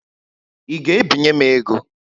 Ị ga-ebinye m ego?